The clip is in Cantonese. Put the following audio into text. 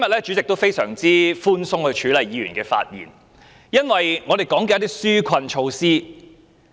主席今天非常寬鬆地處理議員的發言，因為大家所討論的是紓困措施。